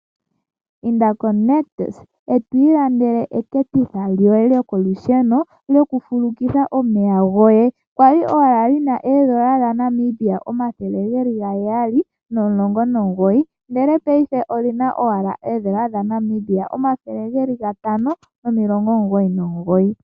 Inda koNictus, eto ilandele eketitha lyoye lyo kolusheno lyo ku fulukitha omeya goye, kwali owala lina N$719, ndele paife olina owala N$ 599.